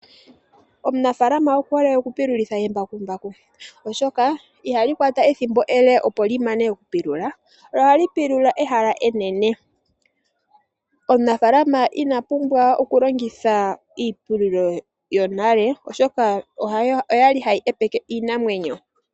Omunafaalama okuhole okupululitha embakumbaku oshoka ihali kwata ethimbo ele opo limane okupulula lo ohali pulula ehala enene. Omunafaalama inapumbwa okulongitha iipululo yonale oshoka okwali hayi epeke iinamwenyo.